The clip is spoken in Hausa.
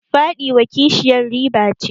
Faɗiwa kishiyar riba ce.